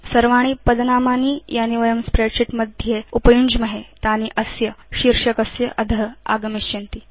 सर्वाणि पदनामानि यानि वयं स्प्रेडशीट् मध्ये उपयुञ्ज्महे तानि अस्य शीर्षकस्य अध आगमिष्यन्ति